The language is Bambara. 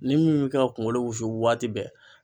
Ni min bɛ ka kunkolo wusu waati bɛɛ